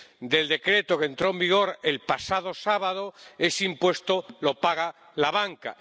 del decreto que entró en vigor el pasado sábado, ese impuesto lo paga la banca.